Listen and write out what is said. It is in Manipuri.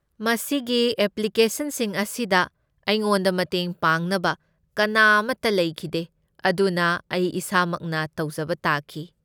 ꯃꯁꯤꯒꯤ ꯑꯦꯄ꯭ꯂꯤꯀꯦꯁꯟꯁꯤꯡ ꯑꯁꯤꯗ ꯑꯩꯉꯣꯟꯗ ꯃꯇꯦꯡ ꯄꯥꯡꯅꯕ ꯀꯅꯥ ꯑꯃꯠꯇ ꯂꯩꯈꯤꯗꯦ, ꯑꯗꯨꯅ ꯑꯩ ꯏꯁꯥꯃꯛꯅ ꯇꯧꯖꯕ ꯇꯥꯈꯤ꯫